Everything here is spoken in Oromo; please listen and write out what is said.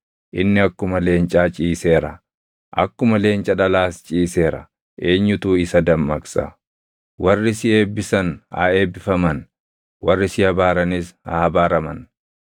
Inni akkuma leencaa ciiseera; akkuma leenca dhalaas ciiseera; eenyutu isa dammaqsa? “Warri si eebbisan haa eebbifaman; warri si abaaranis haa abaaraman!”